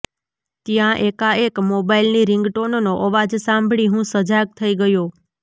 ત્યાં એકાએક મોબાઈલની રિંગટોનનો અવાજ સાંભળી હું સજાગ થઈ ગયો